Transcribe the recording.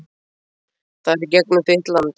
Það er í gegnum þitt land?